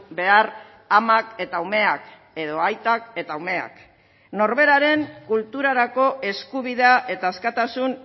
behar amak eta umeak edo aitak eta umeak norberaren kulturarako eskubidea eta askatasun